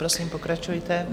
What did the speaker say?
Prosím, pokračujte.